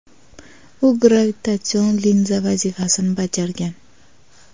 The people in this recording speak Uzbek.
U gravitatsion linza vazifasini bajargan.